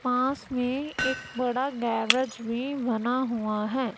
पास में एक बड़ा गैरेज भी बना हुआ है।